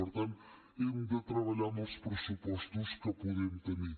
per tant hem de treballar amb els pressupostos que podem tenir